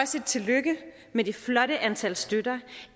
sige tillykke med det flotte antal støtter